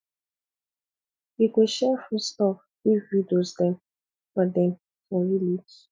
we go share food stuff give widows dem for dem for village